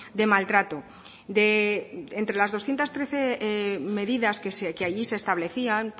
de maltrato entre las doscientos trece medidas que allí se establecían